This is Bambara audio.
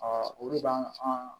olu b'an an